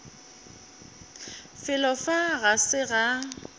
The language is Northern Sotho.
felo fa ga se ga